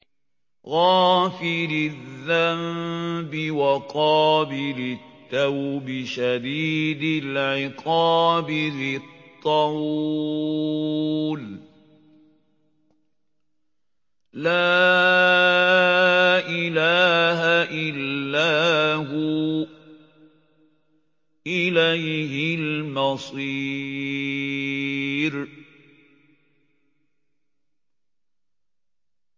غَافِرِ الذَّنبِ وَقَابِلِ التَّوْبِ شَدِيدِ الْعِقَابِ ذِي الطَّوْلِ ۖ لَا إِلَٰهَ إِلَّا هُوَ ۖ إِلَيْهِ الْمَصِيرُ